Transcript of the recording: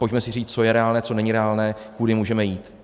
Pojďme si říct, co je reálné, co není reálné, kudy můžeme jít.